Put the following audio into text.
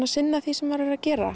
að sinna því sem maður er að gera